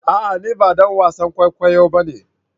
A'a! Ni ba dan wasan kwaikwayo ba ne.